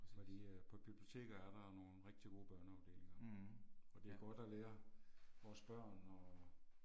Fordi øh på et biblioteker er der nogle rigtig gode børneafdelinger og det er godt at lære vores børn og